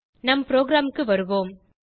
நம் ப்ரோகிராமுக்கு வருவோம்